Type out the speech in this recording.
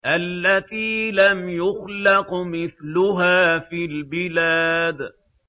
الَّتِي لَمْ يُخْلَقْ مِثْلُهَا فِي الْبِلَادِ